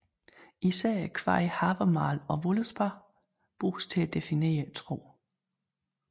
Især kvadene Havamál og Völuspá bruges til at definere troen